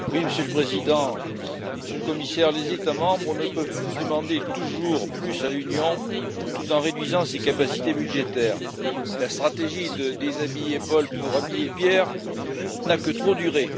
Monsieur le Président, Monsieur le Commissaire, les États membres ne peuvent plus demander toujours plus à l'Union, tout en réduisant ses capacités budgétaires. La stratégie de déshabiller Paul pour habiller Pierre n'a que trop duré.